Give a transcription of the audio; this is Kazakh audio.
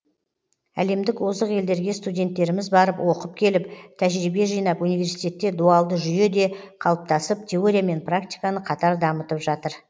әлемдік озық елдерге студенттеріміз барып оқып келіп тәжірибе жинап университетте дуалды жүйе де қалыптасып теория мен практиканы қатар дамытып жатыр